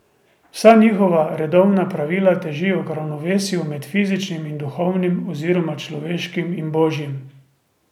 Vsa njihova redovna pravila težijo k ravnovesju med fizičnim in duhovnim oziroma človeškim in božjim.